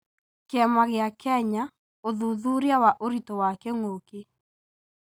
Kĩama gĩa Kenya, ũthuthuria wa ũritũ wa kĩng'ũki.